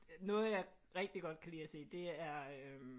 Noget jeg rigtig godt kan lide at se det er øh